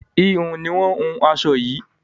híhun ni wọn hun aṣọ yìí